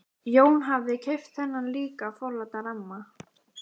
Jón hafði keypt þennan líka forláta ramma.